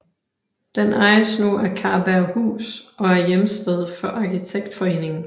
Den ejes nu af Karberghus og er hjemsted for Arkitektforeningen